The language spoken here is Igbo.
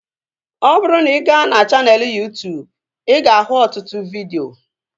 Ọ bụrụ na ị ga na chaneelụ Yuu-tuubu ị ga ahụ ọtụtụ vidio